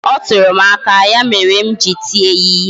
Ọ tụrụ m aka ya mere m ji tie ya ihe